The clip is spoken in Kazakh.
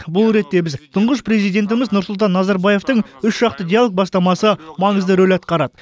бұл ретте біз тұңғыш президентіміз нұрсұлтан назарбаевтың үшжақты диалог бастамасы маңызды рөл атқарады